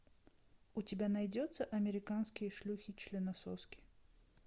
у тебя найдется американские шлюхи членососки